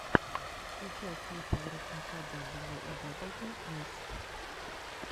включай клипы воротника дабл ю о дабл ю эс